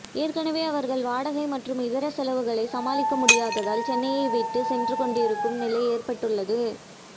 எனவே அவர்கள் வாடகை மற்றும் இதர செலவுகளை சமாளிக்க முடியாததால் சென்னையை விட்டு சென்று கொண்டிருக்கும் நிலை ஏற்பட்டுள்ளது